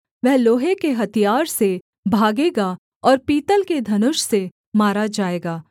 वह लोहे के हथियार से भागेगा और पीतल के धनुष से मारा जाएगा